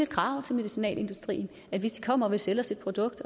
krav til medicinalindustrien hvis de kommer og vil sælge os et produkt